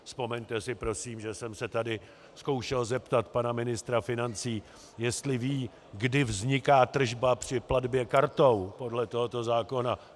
Vzpomeňte si prosím, že jsem se tady zkoušel zeptat pana ministra financí, jestli ví, kdy vzniká tržba při platbě kartou podle tohoto zákona.